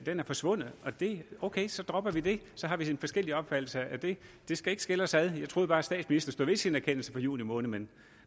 er forsvundet ok så dropper vi det så har vi forskellig opfattelse af det det skal ikke skille os jeg troede bare statsministeren stod ved sin erkendelse fra juni måned men